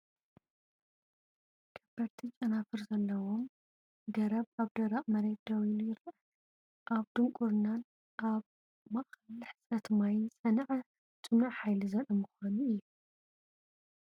ከበድቲ ጨናፍር ዘለዎ ገረብ ኣብ ደረቕ መሬት ደው ኢሉ ይርአ። ኣብ ድንቁርናን ኣብ ማእከል ሕጽረት ማይን ዝጸንዐ ጽኑዕ ሓይሊ ዘርኢ ምዃኑ እዩ።